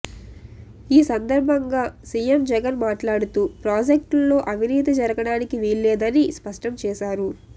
ఈ సందర్భంగా సిఎం జగన్ మాట్లాడుతూ ప్రాజెక్టుల్లో అవినీతి జరగడానికి వీల్లేదని స్పష్టం చేశారు